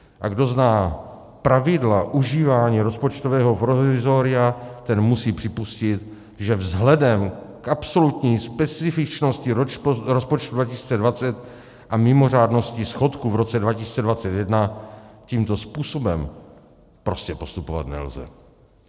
A kdo zná pravidla užívání rozpočtového provizoria, ten musí připustit, že vzhledem k absolutní specifičnosti rozpočtu 2020 a mimořádnosti schodku v roce 2021 tímto způsobem prostě postupovat nelze.